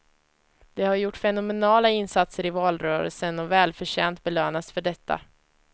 De har gjort fenomenala insatser i valrörelsen och välförtjänt belönats för detta.